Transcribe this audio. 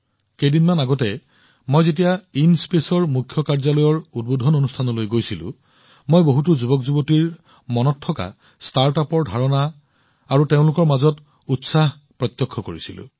কেইদিনমান আগতে যেতিয়া মই ইনস্পেচৰ মুখ্য কাৰ্যালয়ৰ উৎক্ষেপণলৈ গৈছিলো মই বহুতো যুৱ ষ্টাৰ্টআপৰ ধাৰণা আৰু উৎসাহ দেখিছিলো